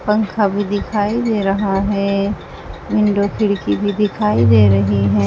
पंखा भी दिखाई दे रहा है विंडो खिड़की भी दिखाई दे रही है।